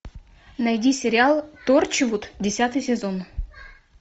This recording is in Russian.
найди сериал торчвуд десятый сезон